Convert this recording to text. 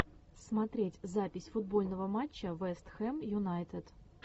смотреть запись футбольного матча вест хэм юнайтед